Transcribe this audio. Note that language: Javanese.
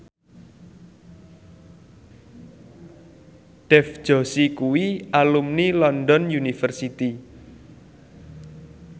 Dev Joshi kuwi alumni London University